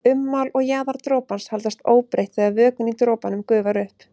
Ummál og jaðar dropans haldast óbreytt þegar vökvinn í dropanum gufar upp.